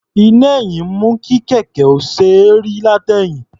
Iná-ẹ̀yìn mú kí kẹ̀kẹ́ náà ó ṣe é rí látẹ̀yìn.